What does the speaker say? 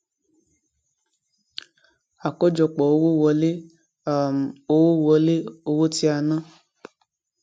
àkójọpò owó wọlé um owó wọlé owó tí a ná